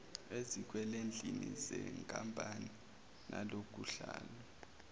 ezikwelendini zenkampani nakunhlalo